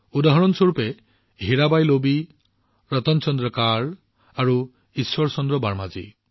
যেনে হীৰাবাই লোবি ৰতন চন্দ্ৰ কৰ আৰু ঈশ্বৰ চন্দ্ৰ বাৰ্মাজী